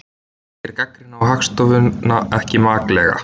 Segir gagnrýni á Hagstofuna ekki maklega